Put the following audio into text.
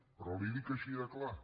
però li ho dic així de clar